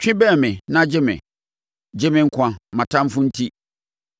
Twi bɛn me na gye me; gye me nkwa, mʼatamfoɔ enti.